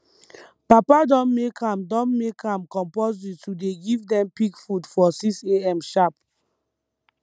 papa don make am don make am compulsory to dey give dem pig food for 6am sharp